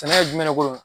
Sɛnɛ ye jumɛn ko ye